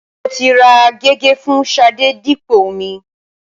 Mo ti ra gègé fún Ṣadé dípò omi.